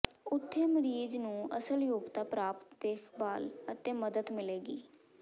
ਉੱਥੇ ਮਰੀਜ਼ ਨੂੰ ਅਸਲ ਯੋਗਤਾ ਪ੍ਰਾਪਤ ਦੇਖਭਾਲ ਅਤੇ ਮਦਦ ਮਿਲੇਗੀ